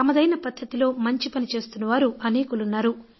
తమదైన పద్ధతిలో మంచి పని చేస్తున్నవారు అనేకులు ఉన్నారు